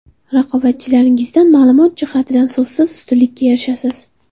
Raqobatchilaringizdan ma’lumot jihatidan so‘zsiz ustunlikka erishasiz.